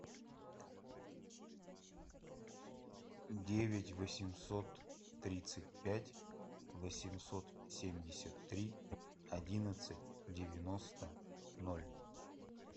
девять восемьсот тридцать пять восемьсот семьдесят три одиннадцать девяносто ноль